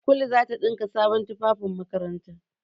Kulu za ta ɗinka sabon tufafin makaranta.